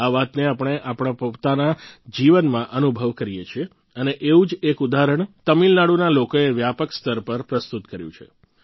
આ વાતને આપણે આપણા પોતાના જીવનમાં અનુભવ કરીએ છીએ અને એવું જ એક ઉદાહરણ તમિલનાડુના લોકોએ વ્યાપક સ્તર પર પ્રસ્તુત કર્યું છે